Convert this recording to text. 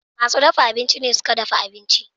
Masu dafa abinci ne suke dafa abinci.